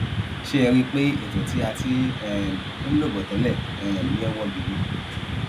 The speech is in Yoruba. ṣé ẹ rí i pé ètò tí a ti um ń lọ bọ tẹlẹ um yẹn wọ gidi